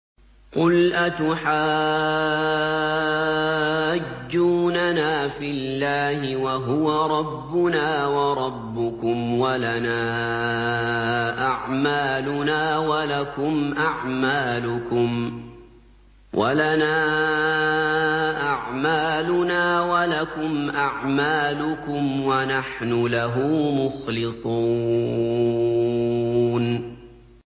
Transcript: قُلْ أَتُحَاجُّونَنَا فِي اللَّهِ وَهُوَ رَبُّنَا وَرَبُّكُمْ وَلَنَا أَعْمَالُنَا وَلَكُمْ أَعْمَالُكُمْ وَنَحْنُ لَهُ مُخْلِصُونَ